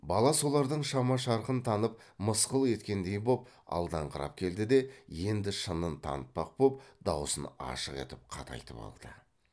бала солардың шама шарқын танып мысқыл еткендей боп алдаңқырап келді де енді шынын танытпақ боп даусын ашық етіп қатайтып алды